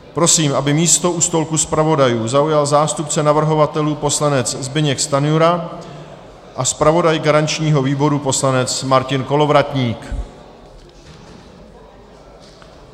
Prosím, aby místo u stolku zpravodajů zaujal zástupce navrhovatelů poslanec Zbyněk Stanjura a zpravodaj garančního výboru poslanec Martin Kolovratník.